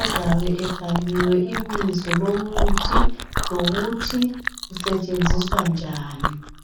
azabe ebhaliwe ibizo lomuthi lokuthi isetshenziswa njani